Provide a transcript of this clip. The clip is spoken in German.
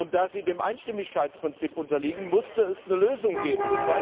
Und da sie dem Einstimmigkeitsprinzip unterliegen, musste es eine Lösung geben.